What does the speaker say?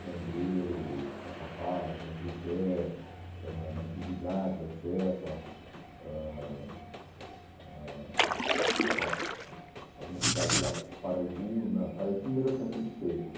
Jambeiro, Caçapava, São José, ãh Natividade da Serra, ãh, ãh, bom, algumas cidades lá, Paraibuna, Paraitinga já tinha sido feita